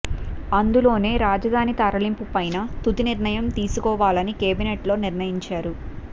అందులోనే రాజధాని తరలింపు పైన తుది నిర్ణయం తీసుకోవాలని కేబినెట్ లో నిర్ణయించారు